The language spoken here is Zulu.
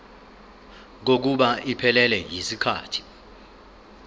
kokuba iphelele yisikhathi